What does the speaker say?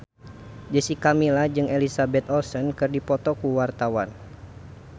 Jessica Milla jeung Elizabeth Olsen keur dipoto ku wartawan